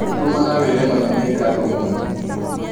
tũmana wĩĩre mami nĩ ngatho mũno